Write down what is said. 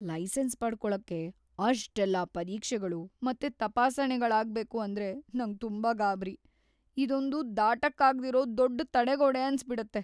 Licence ಪಡ್ಕೊಳಕ್ಕೆ ಅಷ್ಟೆಲ್ಲಾ ಪರೀಕ್ಷೆಗಳು ಮತ್ತೆ ತಪಾಸಣೆಗಳಾಗ್ಬೇಕು ಅಂದ್ರೆ ನಂಗ್‌ ತುಂಬಾ ಗಾಬ್ರಿ. ಇದೊಂದು ದಾಟಕ್ಕಾಗ್ದಿರೋ ದೊಡ್ಡ್ ತಡೆಗೋಡೆ ಅನ್ಸ್‌ಬಿಡತ್ತೆ.